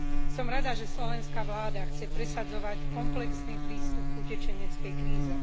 Som rada, že slovenská vláda chce presadzovať komplexný prístup k utečeneckej kríze.